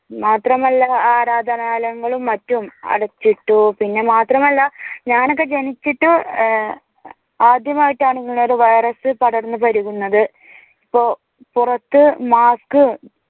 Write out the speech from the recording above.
മാത്രമല്ല ആരാധനാലയങ്ങളും മറ്റും അടച്ചിട്ടു. പിന്നെ മാത്രമല്ല ഞാനൊക്കെ ജനിച്ചിട്ട് ആദ്യമായിട്ടാണ് ഇങ്ങനെ ഒരു വൈറസ് പടർന്നു പിടിപെടുന്നത്. പുപുറത്തു മാസ്ക്